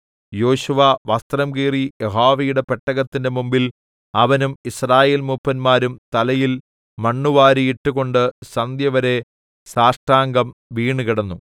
യോശുവ വസ്ത്രം കീറി യഹോവയുടെ പെട്ടകത്തിന്റെ മുമ്പിൽ അവനും യിസ്രായേൽ മൂപ്പന്മാരും തലയിൽ മണ്ണുവാരിയിട്ടുകൊണ്ട് സന്ധ്യവരെ സാഷ്ടാംഗം വീണ് കിടന്നു